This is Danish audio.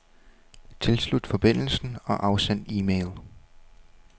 Tilslut forbindelsen og afsend e-mail.